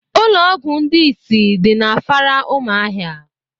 Ụlọọgwụ ndị isi dị n'Afara umuahia